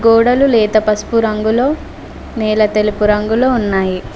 గోడలు లేత పసుపు రంగులో నేల తెలుపు రంగులో ఉన్నాయి.